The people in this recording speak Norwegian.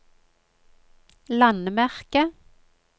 landemerke